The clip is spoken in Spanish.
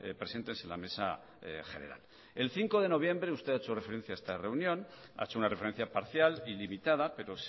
presentes en la mesa general el cinco de noviembre usted ha hecho referencia a esta reunión ha hecho una referencia parcial ilimitada pero